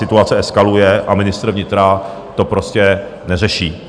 Situace eskaluje a ministr vnitra to prostě neřeší.